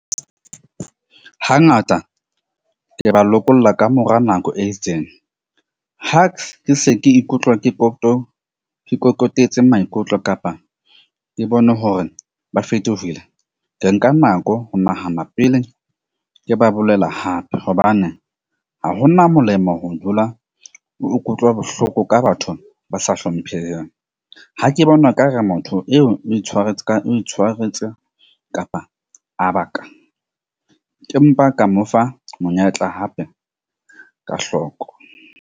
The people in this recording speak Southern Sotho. Hangata ke ba lokolla kamora nako e itseng , ke se ke ikutlwa ke ikokobetse maikutlo kapa ke bone hore ba fetogile. Ke nka nako ho nahana pele, ke ba bolela hape hobane ha hona molemo ho dula o ikutlwa bohloko ka batho ba sa hlompheng. Ha ke bona ekare motho eo itshwaretse ka o itshwaretse kapa ka mo fa monyetla hape ka hlooko.